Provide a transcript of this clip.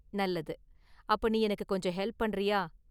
நல்லது, அப்ப நீ எனக்கு கொஞ்சம் ஹெல்ப் பண்றியா?